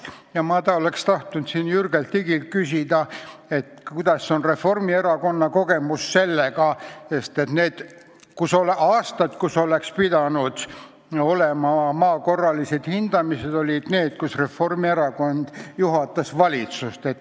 Ma oleksin tahtnud Jürgen Ligilt küsida, milline on siin Reformierakonna kogemus, sest need aastad, kui oleksid pidanud olema maa korralised hindamised, olid need, kui Reformierakond juhatas valitsust.